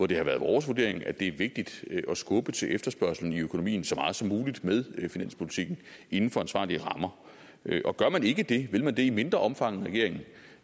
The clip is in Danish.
det har været vores vurdering at det er vigtigt at skubbe til efterspørgslen i økonomien så meget som muligt med finanspolitikken inden for ansvarlige rammer og gør man ikke det vil man det i mindre omfang